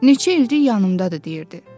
Neçə ildir yanımdadır”, deyirdi.